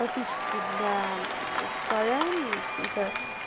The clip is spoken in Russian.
классический для славян это